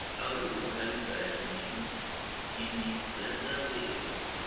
xoluhu waxey uu baxan yihin iini ladaweyo.